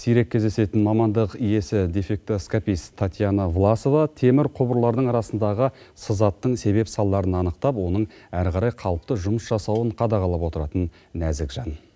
сирек кездесетін мамандық иесі дефектоскопист татьяна власова темір құбырлардың арасындағы сызаттың себеп салдарын анықтап оның әрі қарай қалыпты жұмыс жасауын қадағалап отыратын нәзік жан